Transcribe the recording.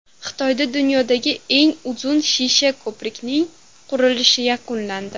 Xitoyda dunyodagi eng uzun shisha ko‘prikning qurilishi yakunlandi.